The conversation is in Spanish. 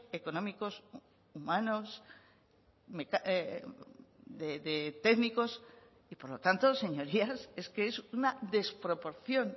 económicos humanos de técnicos y por lo tanto señorías es que es una desproporción